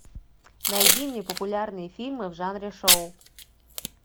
найди мне популярные фильмы в жанре шоу